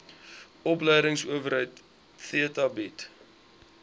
opleidingsowerheid theta bied